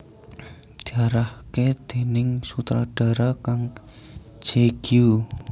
Diarahaké déning sutradhara Kang Je Gyu